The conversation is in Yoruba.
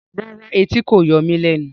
Rárá, ẹtì kò yọ mí lẹnu